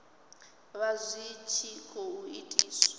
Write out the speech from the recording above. vha zwi tshi khou itiswa